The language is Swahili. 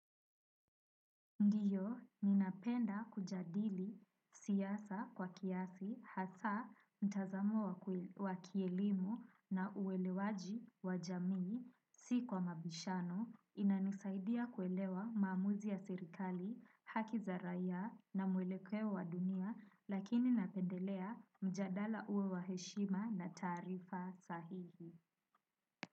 Ndiyo, ninapenda kujadili siasa kwa kiasi, hasa, mtazamo wa kweli wa kielimu na uwelewaji wa jamii, si kwa mabishano, inanisaidia kuelewa maamuzi ya serikali, haki za raia na mwelekeo wa dunia, lakini napendelea mjadala uwe wa heshima na taarifa sahihi.